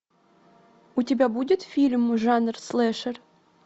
у тебя будет фильм жанр слэшер